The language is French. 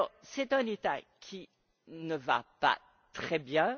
C'est un État qui ne va pas très bien.